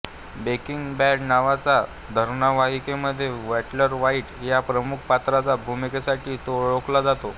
breaking bad नावाच्या धारावाहिकामध्ये Walter White ह्या प्रमुख पात्राच्या भूमिकेसाठी तो ओळखला जातो